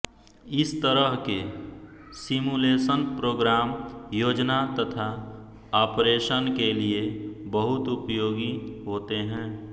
इस तरह के सिमुलेशन प्रोग्राम योजना तथा ऑपरेशन के लिये बहुत उपयोगी होते हैं